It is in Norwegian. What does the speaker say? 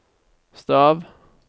stav